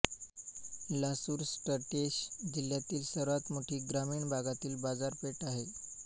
Lasur station जिल्ह्यातील सर्वात मोठी ग्रामीण भागातील बाजारपेठ आहे